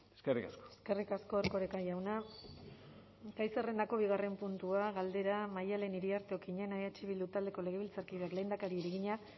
eskerrik asko eskerrik asko erkoreka jauna gai zerrendako bigarren puntua galdera maddalen iriarte okiñena eh bildu taldeko legebiltzarkideak lehendakariari egina